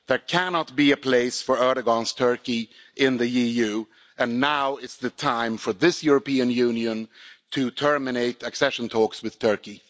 There cannot be a place for Erdoğan's Turkey in the EU, and now is the time for this European Union to terminate accession talks with Turkey.